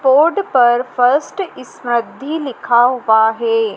Road पर first Samruddhi लिखा हुआ है।